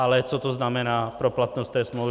Ale co to znamená pro platnost té smlouvy.